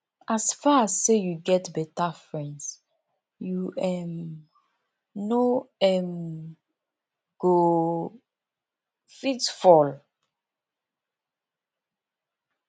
as far as sey you get beta friends you um no um go fit fail